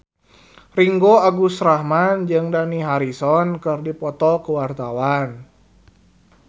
Ringgo Agus Rahman jeung Dani Harrison keur dipoto ku wartawan